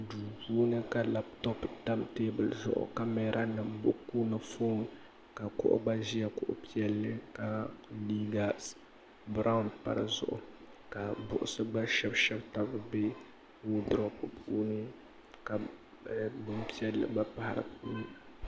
duu puuni ka labtop tam teebuli zuɣu kamɛra ni buku ni foon ka kuɣu ʒɛya kuɣu piɛlli ka liiga biraawn pa dizuɣu ka buksi gba shɛbi shɛbi tab n bɛ woodurop puuni ka buku piɛlli gba pahi di puuni